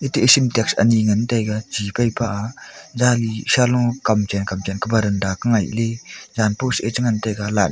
gateh sintex ani ngantaiga chi phaipa zansalo kam chen kam chen kah baranda kah ngaihley zan post ye chi ngantaga light ja.